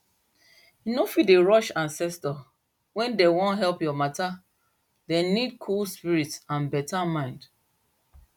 you no fit dey rush ancestor when dem wan help your matter dem need cool spirit and beta mind